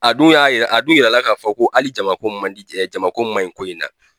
A dun y'a yira a dun yira k'a fɔ ko hali jamako man di jamako man ɲi ko in na.